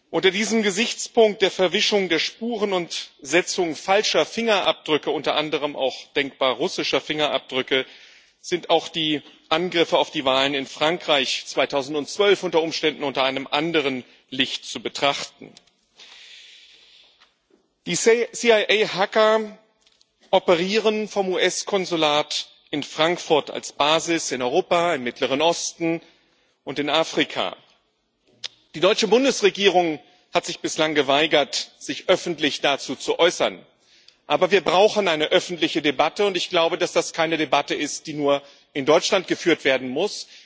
Unter diesem Gesichtspunkt der Verwischung der Spuren und Setzung falscher Fingerabdrücke unter anderem auch denkbar russischer Fingerabdrücke sind auch die Angriffe auf die Wahlen in Frankreich 2012 unter Umständen unter einem anderen Licht zu betrachten. Die CIA Hacker operieren vom US Konsulat in Frankfurt als Basis in Europa, im Mittleren Osten und in Afrika. Die deutsche Bundesregierung hat sich bislang geweigert, sich öffentlich dazu zu äußern. Aber wir brauchen eine öffentliche Debatte, und ich glaube, dass das keine Debatte ist, die nur in Deutschland geführt werden muss.